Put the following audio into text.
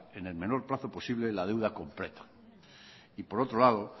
en el menor en el menor plazo posible la deuda completa y por otro lado